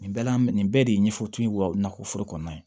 Nin bɛɛ la nin bɛɛ de ye ɲɛfɔtu ye wa nakɔ foro kɔnɔna ye